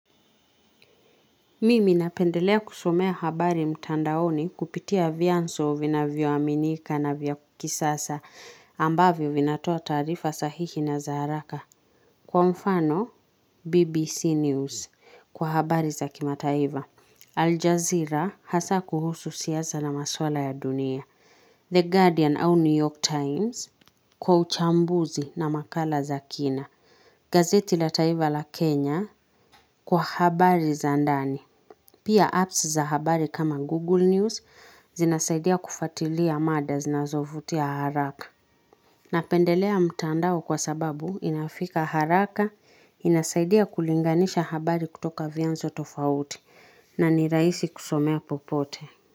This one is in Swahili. Mimi napendelea kusomea habari mtandaoni kupitia vyanso vinavyoaminika na vya kisasa ambavyo vinatoa tarifa sahihi na zaharaka. Kwa mfano, BBC News. Kwa habari za kima taiva. Aljazeera hasa kuhusu siasa na maswala ya dunia. The Guardian au New York Times. Kwa uchambuzi na makala za kina. Gazeti la taiva la Kenya. Kwa habari za ndani. Pia apps za habari kama Google News zinasaidia kufatilia mada zinazovutia haraka. Napendelea mtandao kwa sababu inafika haraka inasaidia kulinganisha habari kutoka vianzo tofauti na niraisi kusomea popote.